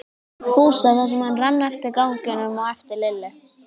Fúsa þar sem hann rann eftir ganginum á eftir Lillu.